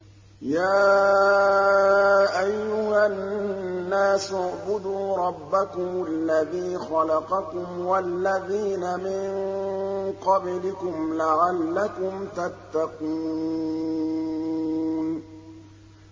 يَا أَيُّهَا النَّاسُ اعْبُدُوا رَبَّكُمُ الَّذِي خَلَقَكُمْ وَالَّذِينَ مِن قَبْلِكُمْ لَعَلَّكُمْ تَتَّقُونَ